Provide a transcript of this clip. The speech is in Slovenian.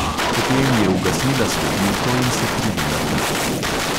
Potem je ugasnila svetilko in se privila k njemu.